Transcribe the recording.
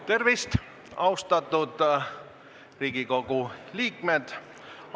Tervist, austatud Riigikogu liikmed!